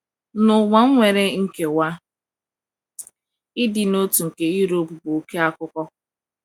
N’ụwa nwere nkewa, ịdị n’otu nke Europe bụ oké akụkọ.